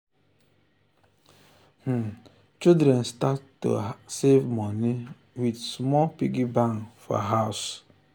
children dey start to um save moni with um small piggy bank for house.